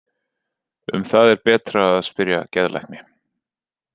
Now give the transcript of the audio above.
Um það er betra að spyrja geðlækni.